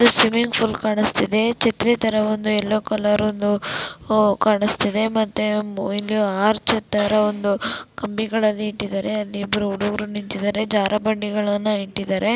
Swimming pool ಕಾಣಸ್ತಿದೆ. ಛತ್ರಿ ತರ ಯೆಲ್ಲೋ ಕಲರ್ ಒಂದು ಕಾಣಿಸುತ್ತದೆ ಇಲ್ಲಿ ತರ ಒಂದು ಕಂಬಿ ಗಳನ್ನು ಇಟ್ಟಿದ್ದಾರೆ ಅಲ್ಲಿಗೆ ಇಬ್ಬರು ಹುಡುಗರ ನಿಂತಿದ್ದಾರೆ ಅಲ್ಲಿ ಜಾರು ಬಂಡೆಗಳನ್ನು ಇಟ್ಟಿದ್ದಾರೆ .